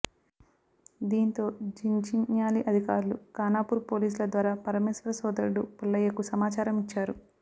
దీంతో జిన్జిన్యాలీ అధికారులు ఖానాపూర్ పోలీసుల ద్వారా పరమేశ్వర్ సోదరుడు పుల్లయ్యకు సమాచారం ఇచ్చారు